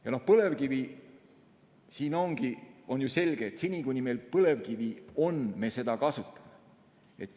Ja põlevkivi – on ju selge, et seni, kuni meil põlevkivi on, me seda kasutame.